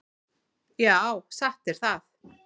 Já, satt er það.